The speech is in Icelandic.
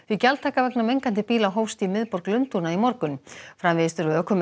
gjaldtaka vegna mengandi bíla hófst í miðborg Lundúna í morgun framvegis þurfa ökumenn